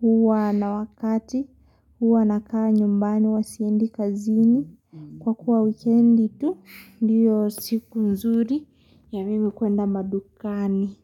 Huwa na wakati huwa nakaa nyumbani huwa siendi kazini. Kwa kuwa wikendi tu ndiyo siku nzuri ya mimi kwenda madukani.